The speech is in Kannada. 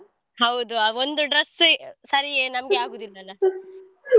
ಹೌದು ಆ ಒಂದು dress ಏ ಸರಿಯೇ ನಮ್ಗಗುದಿಲ್ಲಾಲ್ಲ.